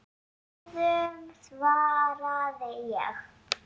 Bráðum svaraði ég.